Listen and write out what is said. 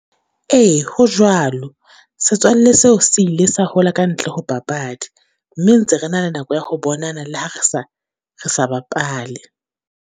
Ee ho jwalo, setswalle seo se ile sa hola ka ntle ho papadi, mme ntse re na le nako ya ho bonana le ha re sa, re sa bapale.